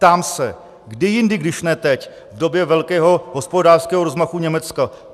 Ptám se, kdy jindy, když ne teď v době velkého hospodářského rozmachu Německa?